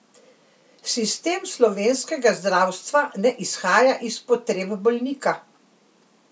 Sistem slovenskega zdravstva ne izhaja iz potreb bolnika.